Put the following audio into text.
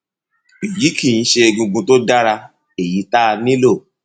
èyí kì í ṣe egungun tó dára èyí tá a nílò